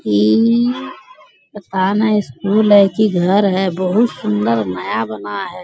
इ पता ने स्कूल है की घर है बहुत सुन्दर नया बना है।